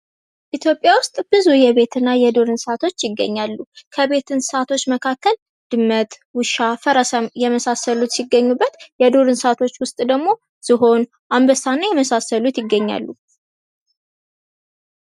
ኢትዮጵያ ውስጥ ብዙ የቤትና የዱር እንስሳቶች ይገኛሉ። ከቤት እሳቶች መካከል ድመት፥ ውሻ፥ ፈረስ የመሳሰሉ ሲገኙበት የዱር እንሰሳቶች ውስጥ ደግሞ ዝሆን፥ አንበሳና የመሳሰሉት ይገኛሉ።